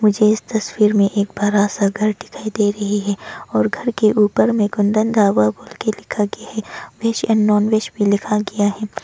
मुझे इस तस्वीर में एक बड़ा सा घर दिखाई दे रही है और घर के ऊपर में कुंदन ढाबा बोल के लिखा गया है वेज और नॉनवेज भी लिखा गया है।